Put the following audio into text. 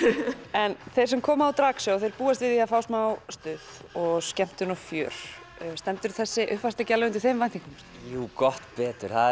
en þeir sem koma á drag búast við því að fá smá stuð og skemmtun og fjör stendur þessi uppfærsla ekki alveg undir þeim væntingum jú gott betur það